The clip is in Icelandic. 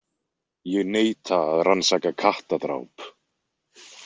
Ég neita að rannsaka kattadráp.